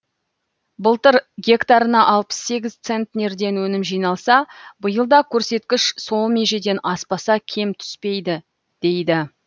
былтыр гектарына алпыс сегіз центнерден өнім жиналса биыл да көрсеткіш сол межеден аспаса кем түспейді дейді